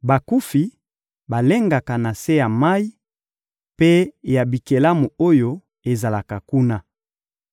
Bakufi balengaka na se ya mayi mpe ya bikelamu oyo ezalaka kuna.